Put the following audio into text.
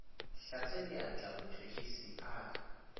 hlatswe diatla motšhotšhisi a ka